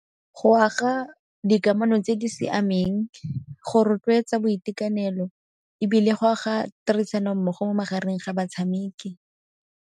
Go aga dikamano tse di siameng, go rotloetsa boitekanelo ebile go aga tirisano mmogo mo magareng ga batshameki.